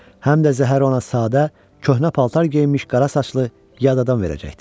Həm də zəhəri ona sadə, köhnə paltar geyinmiş qara saçlı, yad adam verəcəkdi.